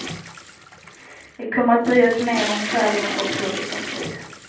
Vi kommer att bry oss mer om själen och hur vi får frid.